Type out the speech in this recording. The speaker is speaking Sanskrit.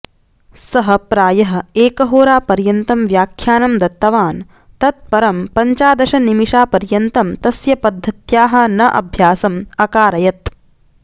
सः प्रायः एकहोरापर्यन्तं व्याख्यानं दत्तवान् तत् परं पञ्चादशनिमिषापर्यन्तं तस्य पद्धत्याः नः अभ्यासं अकारयत्